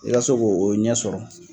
I ka se k'o ɲɛ sɔrɔ.